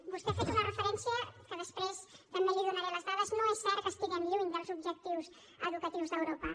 vostè ha fet una referència de la qual després també li donaré les dades no és cert que estiguem lluny dels objectius educatius d’europa